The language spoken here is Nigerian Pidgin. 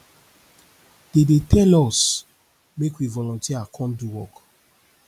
dey dey tell us make we volunteer come do work